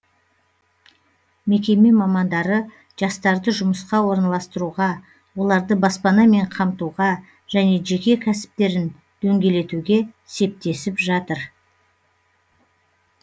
мекеме мамандары жастарды жұмысқа орналастыруға оларды баспанамен қамтуға және жеке кәсіптерін дөңгелетуге септесіп жатыр